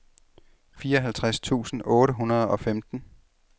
fireoghalvtreds tusind otte hundrede og femten